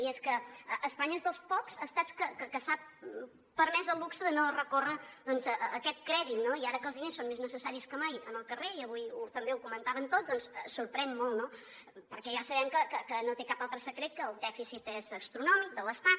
i és que espanya és dels pocs estats que s’ha permès el luxe de no recórrer doncs a aquest crèdit no i ara que els diners són més necessaris que mai en el carrer i avui també ho comentaven tots doncs sorprèn molt no perquè ja sabem que no té cap altre secret que el dèficit és astronòmic de l’estat